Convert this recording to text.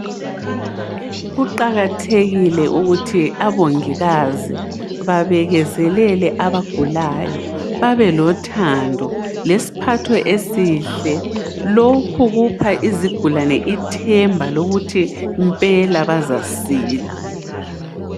Kuqakathekile ukuthi abongikazi babekezelele abagulayo, babelothando, lesiphatho esihle, lokhu kupha izigulane ithemba lokuthi mpela bazasila.